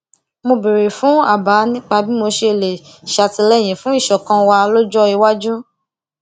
mo béèrè fún àbá nípa bí mo ṣe lè ṣàtìléyìn fún ìṣọkan wa lọjọ iwájú